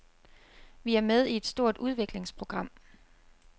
Vi er med i et stort udviklingsprogram.